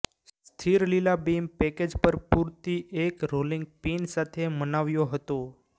સ્થિર લીલા beam package પર પૂરતી એક રોલિંગ પીન સાથે મનાવ્યો હતો